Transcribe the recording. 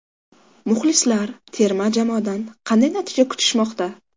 Muxlislar terma jamoadan qanday natija kutishmoqda?